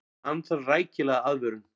Hann þarf rækilega aðvörun.